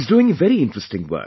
He isdoing very interesting work